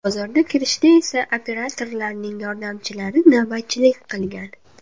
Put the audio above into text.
Bozorga kirishda esa operatorlarning yordamchilari navbatchilik qilgan.